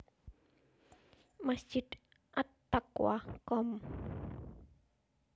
Masjid At Taqwa Komp